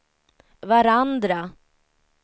varandra